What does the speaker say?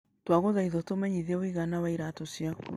Twagũthaitha ũtũmenyithie ũigana wa iraatũ ciaku.